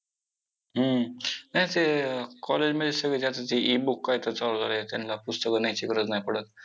हम्म! नाही ते college मध्ये सगळं जे आता ते e-book काय तर चालू झालंय, त्यांना पुस्तकं न्यायची गरज नाही पडत.